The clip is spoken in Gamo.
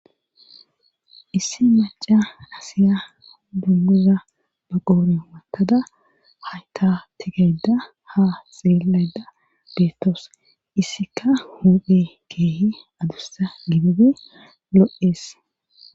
Issi maca asiya dunguza ba qoore makada hayta tigayda ha xeelayda beettoos issika huphe keehi adursa gibibi lo'ee.